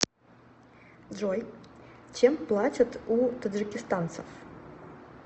джой чем платят у таджикистанцев